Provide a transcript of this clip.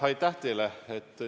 Aitäh teile!